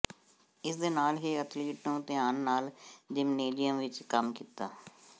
ਇਸ ਦੇ ਨਾਲ ਹੀ ਅਥਲੀਟ ਨੂੰ ਧਿਆਨ ਨਾਲ ਜ਼ਿਮਨੇਜ਼ੀਅਮ ਵਿਚ ਕੰਮ ਕੀਤਾ